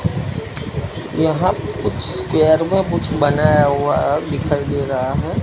यहां पे कुछ कुछ बनाया हुआ दिखाई दे रहा है।